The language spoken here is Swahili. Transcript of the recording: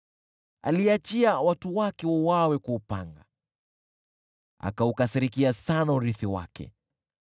Aliachia watu wake wauawe kwa upanga, akaukasirikia sana urithi wake.